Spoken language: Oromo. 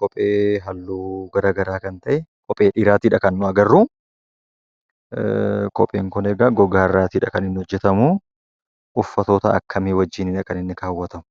Kophee halluu garaa garaa kan ta'e kophee dhiiraatiidha kan nuti agarruu kopheen kun egaa gogaa irraatiidha kan inni hojjetamuu. Uffatoota akkamii wajjinidha kan inni kaawwatamu?